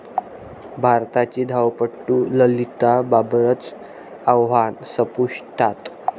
भारताची धावपटू ललिता बाबरचं आव्हान संपुष्टात